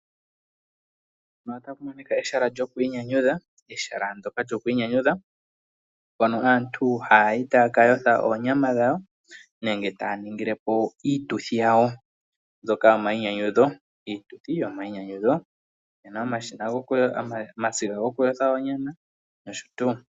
Ehala lyokwiinyanyudha mpoka aantu ha ya yi yaka yothe oonyama dhawo nenge ta ya ningilepo iituthi yawo mbyoka yomainyanyudho. Opu na omasiga go kuyotha onyama nosho tuu.